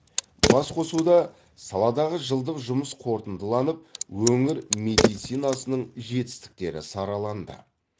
басқосуда саладағы жылдық жұмыс қорытындыланып өңір медицинасының жетістіктері сараланды